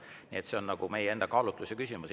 Nii et see on meie enda kaalutluse küsimus.